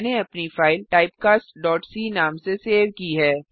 मैंने अपनी फाइल typecastसी नाम से सेव की है